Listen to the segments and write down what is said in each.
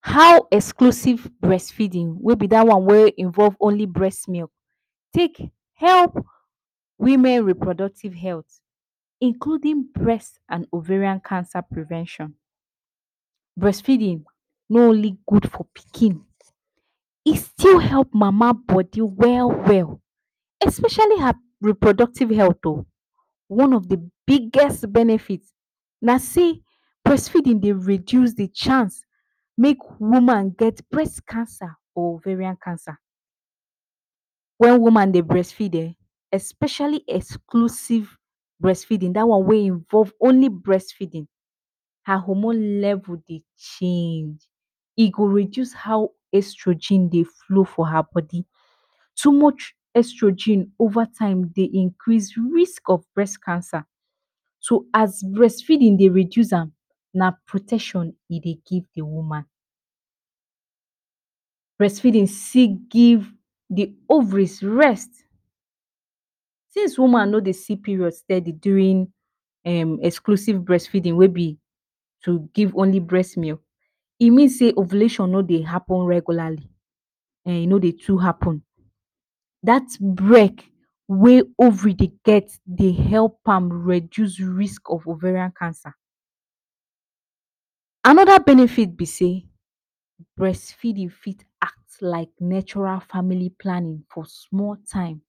How exclusive brest feedin wey be da one wey involve only brest milk take help women reproductive health includin brest and ovarian cancer prevention? Brest feedin no only gud for pikin, e still help mama bodi well well, especiali her reproductive health. One of the biggest benefit na sey brest feedin dey reduce the chance make woman get brest cancer or ovarian cancer. Wen woman dey brest feed ehn, especiali exclusive brest feedin, da one wey involve only brest feedin. Her hormone level dey change. E go reduce how extrogen dey flow for her bodi. Too much extrogen ova time dey increase risk of breast cancer. So as brest feedin dey reduce am, na protection e dey give the woman. Brest feedin still give the ovaries rest. Since woman no dey see period steady durin [um} exclusive brest feedin wey be to give only brest milk, e mean sey ovulation no dey happen regularly e no dey too happen. Dat brek wey ovary dey get dey help am reduce risk of ovarian cancer. Anoda benefit be sey brest feedin fit act like natural famili planning for small time,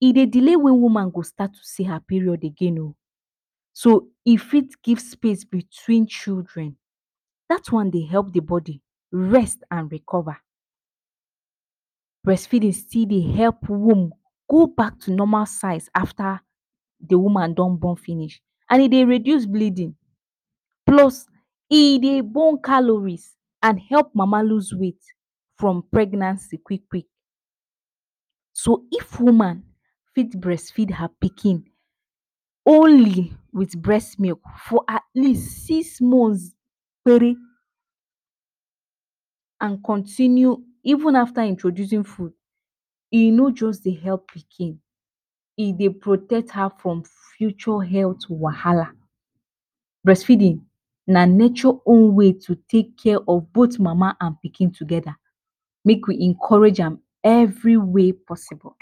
e dey delay wen woman go start to see her period again o, so e fit give space bitwin children. Dat one dey help the body rest and recova, brest feedin still dey help womb go back to normal size afta the woman don bon finish and e dey reduce bleedin plus e dey burn calories and help mama loose weight from pregnancy quik-quik. So if woman fit brest feed her pikin, only with brest milk for at least six months kpere and continue even afta introducin fud, e no just dey help again, e dey protect her from future health wahala. Brest feedin na nature own way to take care of both mama and pikin togeda, make we encourage am every way possible.